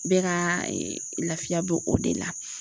Bɛɛ ka lafiya bɛ o de la.